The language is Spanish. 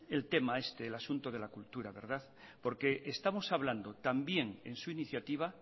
el tema este el asunto de la cultura porque estamos estamos hablando también en su iniciativa